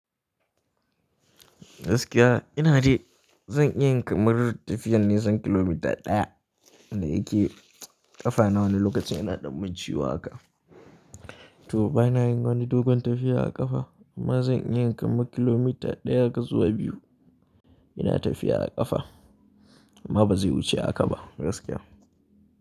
Gaskiya ina ji zan iya yin kamar tafiyar nisan kilomita ɗaya da yake ƙafa na wani lokacin yana ɗan mun ciwo haka. To bana yin wani dogon tafiya a ƙafa, amma zan iya yin kamar kilomita ɗaya haka zuwa biyu ina tafiya a ƙafa amma ba zai wuce haka ba gaskiys.